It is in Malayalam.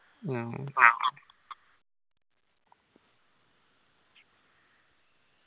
മ്മ് ആ